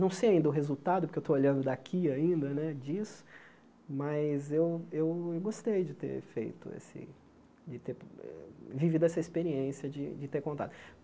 Não sei ainda o resultado, porque eu estou olhando daqui ainda né disso, mas eu eu gostei de ter feito esse de ter vivido essa experiência de de ter contato.